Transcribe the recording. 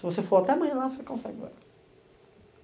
Se você for até amanhã lá, você consegue agora.